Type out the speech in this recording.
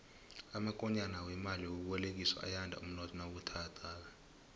amakonyana wemali yokubolekiswa ayanda umnotho nawubuthakathaka